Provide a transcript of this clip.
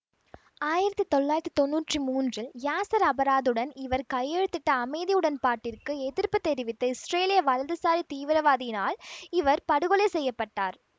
ஆயிரத்தி தொள்ளாயிரத்தி தொன்னூற்றி மூன்றில் யாசர் அரபாத்துடன் இவர் கையெழுத்திட்ட அமைதி உடன்பாட்டிற்கு எதிர்ப்பு தெரிவித்த இஸ்ரேலிய வலதுசாரி தீவிரவாதியினால் இவர் படுகொலை செய்ய பட்டார்